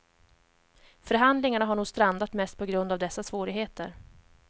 Förhandlingarna har nog strandat mest på grund av dessa svårigheter.